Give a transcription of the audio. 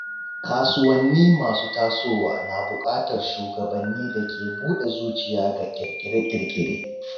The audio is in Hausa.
Kasuwanni masu tasowa na bukatar shugabanni da ke buɗe zuciya ga kirkire-kirkire.